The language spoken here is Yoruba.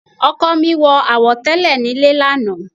Ọkọ mi wọ àwo tẹ́lẹ̀ nílé lánàá.